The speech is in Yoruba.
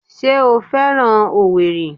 Ṣé o féràn owerri?